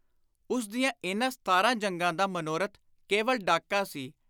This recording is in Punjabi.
ਉਸ ਦੀਆਂ ਇਨ੍ਹਾਂ ਸਤਾਰਾਂ ਜੰਗਾਂ ਦਾ ਮਨੋਰਥ ਕੇਵਲ ਡਾਕਾ ਸੀ।